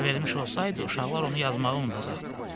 Əgər vermiş olsaydı, uşaqlar onu yazmağı unudacaqdı.